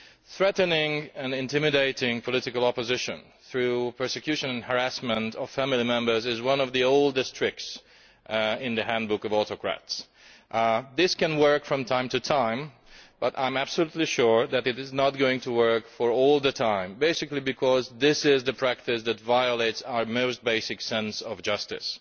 Threatening and intimidating political opposition through persecution and harassment of family members is one of the oldest tricks in the handbook of autocrats. It can work from time to time, but I am absolutely sure it is not going to work for all time, because it is a practice that violates our most basic sense of justice.